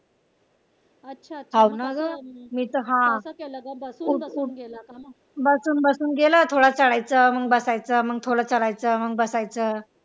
बसून बसून गेलं थोडं बसायचं मग चढायचं मग थोडं चढायचं मग बसायचं.